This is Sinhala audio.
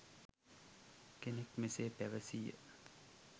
කෙනෙක් මෙසේ පැවසීය.